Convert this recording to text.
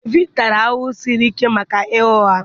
Devid tara ahụhụ siri ike maka ịgha ụgha